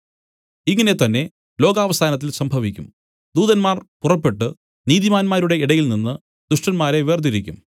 ഇങ്ങനെ തന്നേ ലോകാവസാനത്തിൽ സംഭവിക്കും ദൂതന്മാർ പുറപ്പെട്ടു നീതിമാന്മാരുടെ ഇടയിൽനിന്ന് ദുഷ്ടന്മാരെ വേർതിരിക്കും